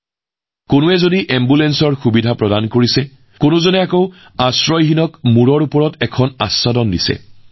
যেনেকৈ কোনোবাই এম্বুলেন্স সেৱা আগবঢ়াইছে আনহাতে কোনোবাই নিঃস্বসকলৰ বাবে ঘৰ নিৰ্মাণৰ ব্যৱস্থা কৰিছে